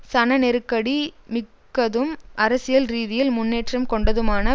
சனநெருக்கடி மிக்கதும் அரசியல் ரீதியில் முன்னேற்றம் கொண்டதுமான